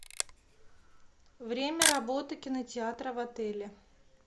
время работы кинотеатра в отеле